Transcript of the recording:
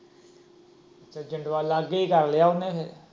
ਜਿੰਦਵਾਲ, ਲਾਗੇ ਈ ਕਰ ਲਿਆ ਉਹਨੇ।